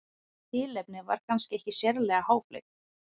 tilefnið var kannski ekki sérlega háfleygt